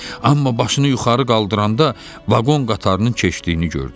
Amma başını yuxarı qaldıranda vaqon qatarının keçdiyini gördü.